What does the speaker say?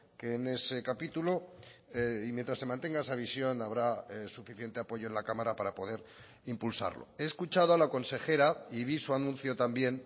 que en ese capítulo y mientras se mantenga esa visión habrá suficiente apoyo en la cámara para poder impulsarlo he escuchado a la consejera y vi su anuncio también